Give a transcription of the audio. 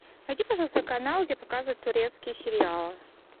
найди пожалуйста канал где показывают турецкие сериалы